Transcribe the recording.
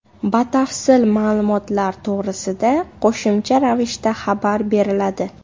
Batafsil ma’lumotlar to‘g‘risida qo‘shimcha ravishda xabar beriladi.